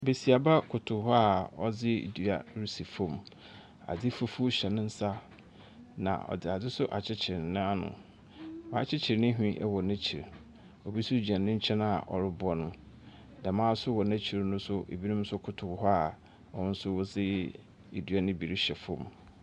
Besiaba koto hɔ ɔde dua resi fɔm, ade fufuo hyɛ ne nsa ɔde ade nso akyekyere na ano, wa akyekyere ne hwene ɛwɔ na akyiri. Obi nso gyina ne nkyɛn a ɔreboa no, dɛɛma nso wɔ na akyiri no ɛbi nso koto hɔ a wɔn nso de dua no bi rehyɛ fɔm.